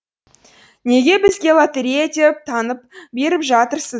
неге бізге лотерея деп таңып беріп жатырсыз